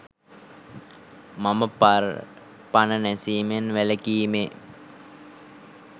මම පර පණ නැසීමෙන් වැළකීමේ